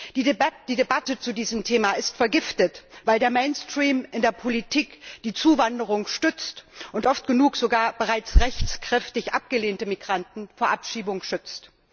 Die Debatte zu diesem Thema ist vergiftet, weil der mainstream in der Politik die Zuwanderung stützt und oft genug sogar rechtskräftig abgelehnte Migranten vor Abschiebung schützt.